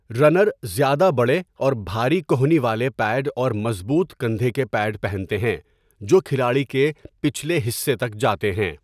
Runner زیادہ بڑے اور بھاری کہنی والے پیڈ اور مضبوط کندھے کے پیڈ پہنتے ہیں جو کھلاڑی کے پچھلے حصے تک جاتے ہیں۔